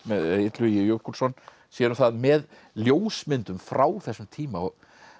Illugi Jökulsson sér um það með ljósmyndum frá þessum tíma